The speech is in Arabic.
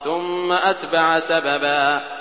ثُمَّ أَتْبَعَ سَبَبًا